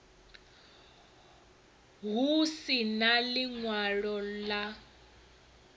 hu si na ḽiṅwalo ḽa